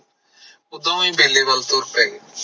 ਉਹ ਦੋਵੇ ਬੇਲੇ ਵੱਲ ਤੁਰ ਪਏ